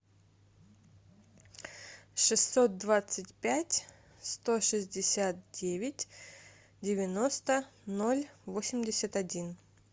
шестьсот двадцать пять сто шестьдесят девять девяносто ноль восемьдесят один